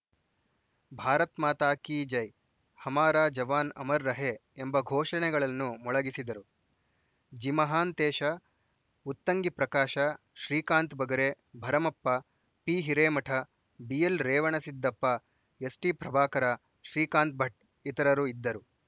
ಭಾರತ್‌ ಮಾತಾ key ಜೈ ಹಮಾರ ಜವಾನ್‌ ಅಮರ್‌ ರಹೇ ಎಂಬ ಘೋಷಣೆಗಳನ್ನು ಮೊಳಗಿಸಿದರು ಜಿಮಹಾಂತೇಶ ಉತ್ತಂಗಿ ಪ್ರಕಾಶ ಶ್ರೀಕಾಂತ ಬಗರೆ ಭರಮಪ್ಪ ಪಿಹಿರೇಮಠ ಬಿಎಲ್‌ರೇವಣಸಿದ್ದಪ್ಪ ಎಸ್‌ಡಿಪ್ರಭಾಕರ ಶ್ರೀಕಾಂತ ಭಟ್‌ ಇತರರು ಇದ್ದರು